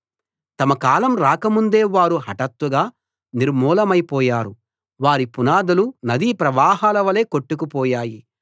తమ కాలం రాకముందే వారు హటాత్తుగా నిర్మూలమైపోయారు వారి పునాదులు నదీ ప్రవాహలవలె కొట్టుకు పోయాయి